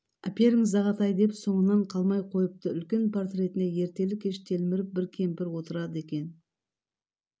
әперіңіз ағатай деп соңынан қалмай қойыпты үлкен портретіне ертелі-кеш телміріп бір кемпір отырады екен